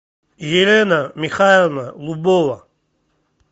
елена михайловна лубова